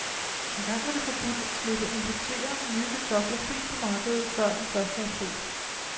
Engang var det forbudt at slippe importerede, nye kartofler fri på markedet før den første april.